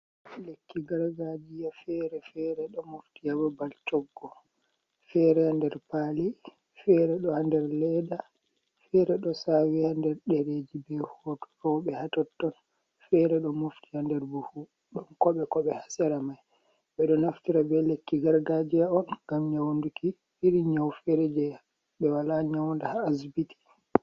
Lekki gargajiya fere-fere ɗo mofti ha babal coggu. Fere ha nder pali, fere ɗo ha nder leda, fere ɗo sawi ha nder ɗereji be hoto rowɓe ha totton. Fere ɗo mofti ha nder buhu, ɗon koɓe-koɓe ha sera mai. Ɓe ɗo naftira be lekki gargajiya on ngam nyaunduki irin nyau fere jei ɓe wala nyaunda ha asbiti.